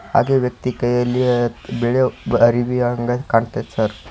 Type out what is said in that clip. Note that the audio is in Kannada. ಹಾಗೆ ವ್ಯಕ್ತಿ ಕೈಯಲ್ಲಿ ಬಿಳೆ ಅರವಿಯಂಗೆ ಕಾಣ್ತೖತೆ ಸರ್ .